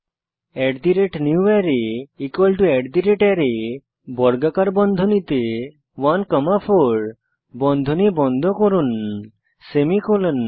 newArray array বর্গাকার বন্ধনীতে 1 comma 4 comma বর্গাকার বন্ধনী বন্ধ করুন সেমিকোলন